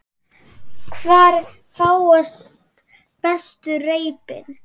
Hvar fást bestu reipin?